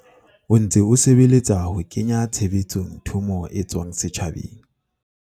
o ntse o sebeletsa ho kenya tshebetsong thomo e tswang setjhabeng.